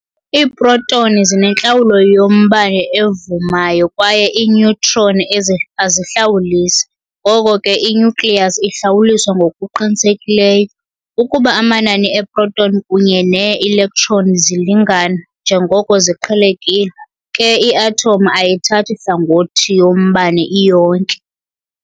Iiprotoni zinentlawulo yombane evumayo kwaye iineutron azihlawulisi, ngoko ke i-nucleus ihlawuliswa ngokuqinisekileyo. Ukuba amanani eeproton kunye nee-electron zilingana, njengoko ziqhelekile, ke i-athomu ayithathi hlangothi yombane iyonke.